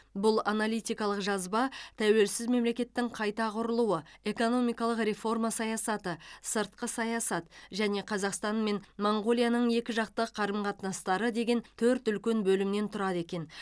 бұл аналитикалық жазба тәуелсіз мемлекеттің қайта құрылуы экономикалық реформа саясаты сыртқы саясат және қазақстан мен моңғолияның екіжақты қарым қатынастары деген төрт үлкен бөлімнен тұрады екен